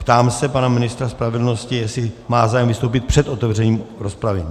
Ptám se pana ministra spravedlnosti, jestli má zájem vystoupit před otevřením rozpravy.